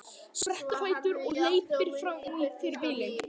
Sprettur á fætur og hleypur fram fyrir bílinn.